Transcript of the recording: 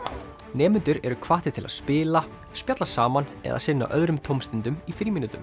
nemendur eru hvattir til að spila spjalla saman eða sinna öðrum tómstundum í frímínútum